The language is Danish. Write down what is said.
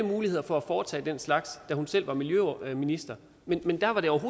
muligheder for at foretage den slags da hun selv var miljøminister men dengang var det